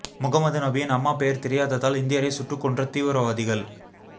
முகமது நபியின் அம்மா பெயர் தெரியாததால் இந்தியரை சுட்டுக் கொன்ற தீவிரவாதிகள்